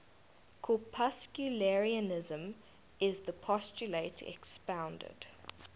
corpuscularianism is the postulate expounded